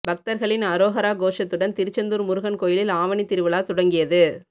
பக்தர்களின் அரோகரா கோஷத்துடன் திருச்செந்தூர் முருகன் கோயிலில் ஆவணி திருவிழா தொடங்கியது